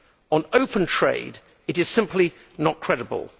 On open trade, it is simply not credible.